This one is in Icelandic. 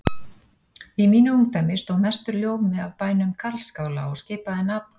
Í mínu ungdæmi stóð mestur ljómi af bænum Karlsskála og skipaði nafn